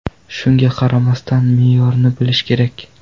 Shunga qaramasdan, me’yorni bilish kerak.